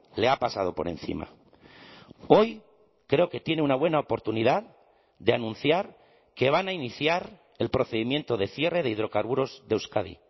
le ha pasado por encima hoy creo que tiene una buena oportunidad de anunciar que van a iniciar el procedimiento de cierre de hidrocarburos de euskadi